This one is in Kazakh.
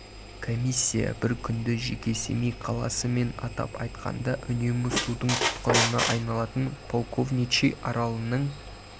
комиссия бір күнді жеке семей қаласы мен атап айтқанда үнемі судың тұтқынына айналатын полковничий аралының